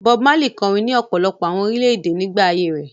Bob Marley kọrin ní ọ̀pọ̀lọpọ̀ àwọn orílẹ̀-èdè nígbà ayé rẹ̀.